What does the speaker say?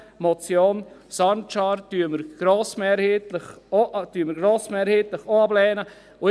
Die Motion Sancar lehnen wir grossmehrheitlich ebenfalls ab.